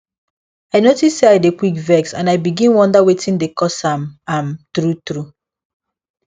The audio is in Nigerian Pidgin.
i notice say i dey quick vex and i begin wonder wetin dey cause am am truetrue